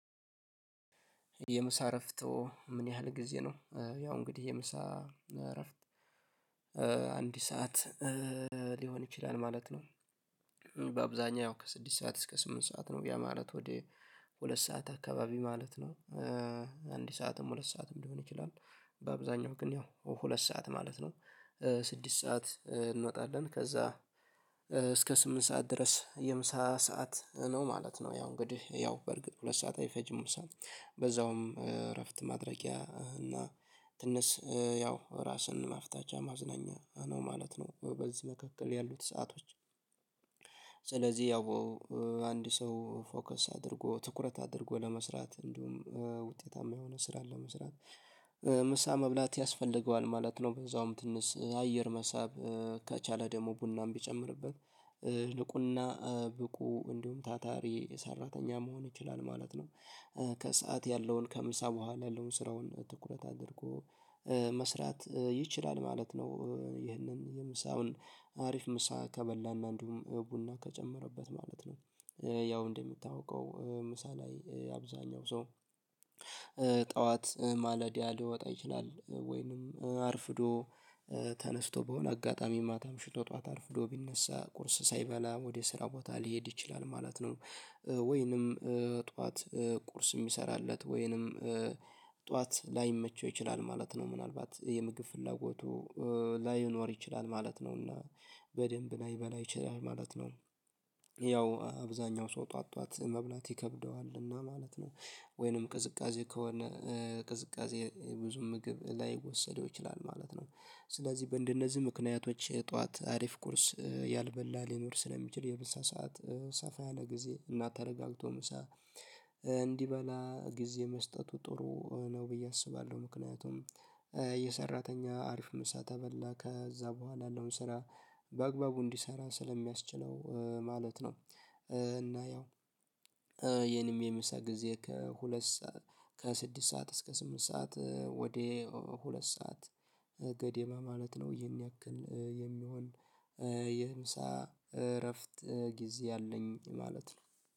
የምሳ እረፍቶ ምን ያህል ጊዜ ነው? ያው እንግዲህ የምሳ እረፍት አንድ ሰዓት ሊሆን ይችላል ማለት ነው። በአብዛኛው ከስድስት ሰዓት እስከ ስምንት ሰዓት ነው ያ ማለት ወደ ሁለት ሰዓት አካባቢ ማለት ነው። አንድ ሰዓትም ሁለት ሰዓትም ሊሆን ይችላል በአብዛኛው ግን ያው ሁለት ሰዓት ማለት ነው። ስድስት ሰዓት እንወጣለን ከዛ እስከ ስምንት ሰዓት ድረስ የምሳ ሰዓት ነው ማለት ነው። ያው እንግዲህ ያው በርግጥ ሁለት ሰዓት አይፈጅም ምሳ በዛውም እረፍት ማድረጊያ እና ትንስ ያው ራስን ማፍታቻ ማዝናኛ ነው ማለት ነው። በዚህ መካከል ያሉት ሰአቶች። ስለዚህ ያው አንድ ሰው ፎከስ አድርጎ ትኩረት አድርጎ ለመስራት እንዲሁም ውጤታማ የሆነ ስራ ለመስራት ምሳ መብላት ያስፈልገዋል ማለት ነው። በዛውም ትንስ አየር መሳብ ከቻለ ደግሞ ቡናም ቢጨምርበት ልቁና ብቁ እንዲሁም ታታሪ ሰራተኛ መሆን ይችላል ማለት ነው። ከሰአት ያለውን ከምሳ በኋላ ያለውን ስራውን ትኩረት አድርጎ መስራት ይችላል ማለት ነው። ይህንን የምሳውን አሪፍ ምሳ ከበላና እንዲሁም ቡና ከጨመረበት ማለት ነው። ያው እንደምታውቀው ምሳ ላይ አብዛኛው ሰው ጠዋት ማለዲያ ሊወጣ ይችላል ወይንም አርፍዶ ተነስቶ በሆነ አጋጣሚ ማታ አምሽቶ ጠዋት አርፍዶ ቢነሳ ቁርስ ሳይበላ ወደ ስራ ቦታ ሊሄድ ይችላል ማለት ነው። ወይንም ጠዋት ቁርስ የሚሰራለት ወይንም ጠዋት ላይመቸው ይችላል ማለት ነው ምናልባት የምግብ ፍላጎቱ ላይኖር ይችላል ማለት ነውና በደንብ ላይበላ ይችላል ማለት ነው። ያው አብዛኛው ሰው ጧትጧት መብላት ይከብደዋል እና ማለት ነው። ወይንም ቅዝቃዜ ከሆነ ቅዝቃዜ ብዙ ምግብ ላይወሰደው ይችላል ማለት ነው። ስለዚህ በእንደነዚህ ምክንያቶች ጠዋት አሪፍ ቁርስ ያልበላ ሊኖር ስለሚችል የምሳ ሰዓት ሰፋ ያለ ጊዜ እና ተረጋግቶ ምሳ እንዲበላ ጊዜ መስጠቱ ጥሩ ነው ብዬ አስባለሁ። ምክንያቱም የሰራተኛ አሪፍ ምሳ ተበላ ከዛ በኋላ ያለውን ስራ በአግባቡ እንዲሰራ ስለሚያስችለው ማለት ነው። እና ያው የኔም የምሳ ጊዜ ከሁለት ሰዓት ከስድስት ሰዓት እስከ ስምንት ሰዓት ወደ ሁለት ሰዓት ገደማ ማለት ነው። የሚያክል የሚሆን የምሳ እረፍት ጊዜ አለኝ ማለት ነው